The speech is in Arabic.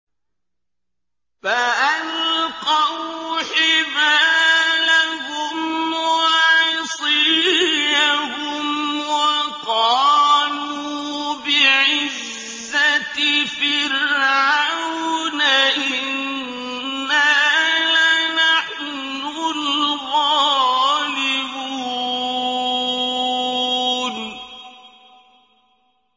فَأَلْقَوْا حِبَالَهُمْ وَعِصِيَّهُمْ وَقَالُوا بِعِزَّةِ فِرْعَوْنَ إِنَّا لَنَحْنُ الْغَالِبُونَ